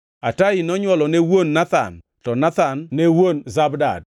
Atai nonywolo ne wuon Nathan, to Nathan ne wuon Zabad,